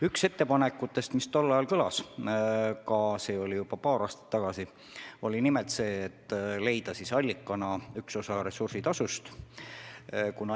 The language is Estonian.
Üks ettepanek, mis tol ajal kõlas – see oli juba paar aastat tagasi –, oli nimelt see, et allikaks võiks olla üks osa ressursitasust.